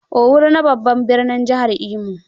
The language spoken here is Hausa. Owerri ne babbar birnin jihar Imo